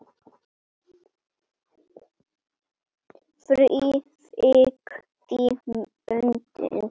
Frá Vík í Mýrdal